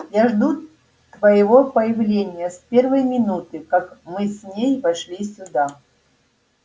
я жду твоего появления с первой минуты как мы с ней вошли сюда